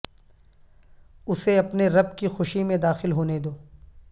اسے اپنے رب کی خوشی میں داخل ہونے دو